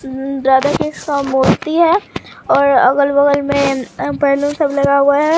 उम्म राधा कृष्ण का मूर्ति है और अगल बगल में अ बैलून सब लगा हुआ है।